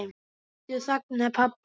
Aftur þagnaði pabbi.